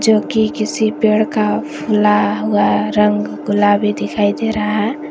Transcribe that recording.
जोकि किसी पेड़ का फूला हुआ रंग गुलाबी दिखाई दे रहा है।